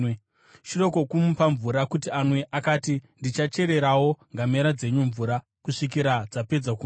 Shure kwokumupa mvura kuti anwe, akati, “Ndichachererawo ngamera dzenyu mvura, kusvikira dzapedza kunwa.”